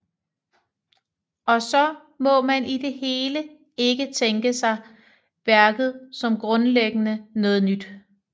Også må man i det hele ikke tænke sig værket som grundlæggende noget nyt